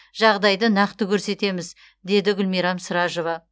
жағдайды нақты көрсетеміз деді гүлмирам сражова